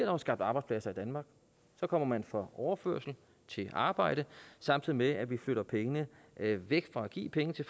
jo skabt arbejdspladser i danmark så kommer man fra overførsel til arbejde samtidig med at vi flytter pengene væk fra at give penge til